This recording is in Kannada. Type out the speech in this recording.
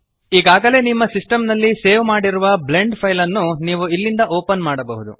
ಈಗಾಗಲೇ ನಿಮ್ಮ ಸಿಸ್ಟೆಮ್ ನಲ್ಲಿ ಸೇವ್ ಮಾಡಿರುವ ಬ್ಲೆಂಡ್ ಫೈಲ್ ನ್ನು ನೀವು ಇಲ್ಲಿಂದ ಓಪನ್ ಮಾಡಬಹುದು